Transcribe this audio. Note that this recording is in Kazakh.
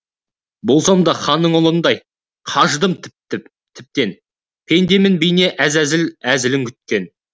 болсам да ханның ұлындай қажыдым тіптен пендемін бейне әзәзіл әзілін күткен